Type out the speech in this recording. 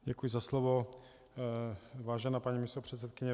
Děkuji za slovo, vážená paní místopředsedkyně.